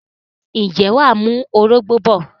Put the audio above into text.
ǹjẹ́ wà á mú orógbó bọ̀?